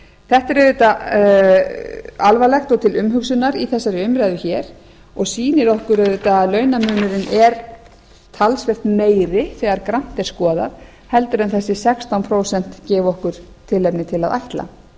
þetta er auðvitað alvarlegt og til umhugsunar í þessari umræðu hér og sýnir okkur auðvitað að launamunurinn er talsvert meiri þegar grannt er skoðað en þessi sextán prósent gefa okkur tilefni til að ætla